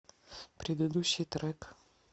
предыдущий трек